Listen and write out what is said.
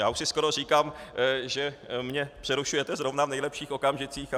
Já už si skoro říkám, že mě přerušujete zrovna v nejlepších okamžicích.